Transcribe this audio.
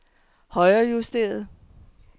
højrejusteret